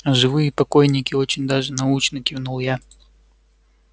а живые покойники очень даже научны кивнул я